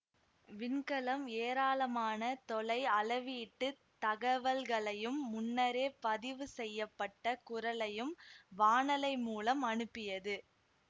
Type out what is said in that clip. விண்கலம் ஏராளமான தொலை அளவீட்டுத் தகவல்களையும் முன்னரே பதிவு செய்ய பட்ட குரலையும் வானலை மூலம் அனுப்பியது